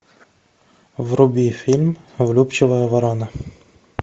вруби фильм влюбчивая ворона